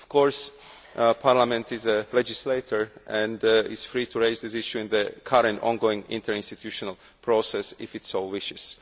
Of course, Parliament is a legislator and is free to raise this issue in the current ongoing interinstitutional process, if it so wishes.